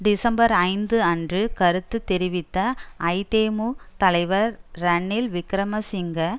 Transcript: December ஐந்து அன்று கருத்து தெரிவித்த ஐதேமு தலைவர் ரணில் விக்கிரமசிங்க